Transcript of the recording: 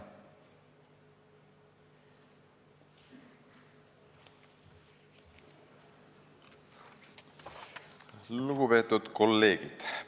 Lugupeetud kolleegid!